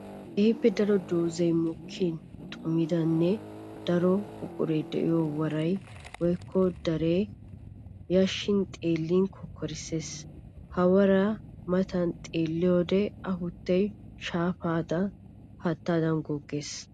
Keehippe daro doozzay mokkin xummiddanne daro buuray de'iyo woray woykko daray yashan xeellin kokkorissees! Ha wora matan xeelliyoode afuttay shayappe haattadan goggees!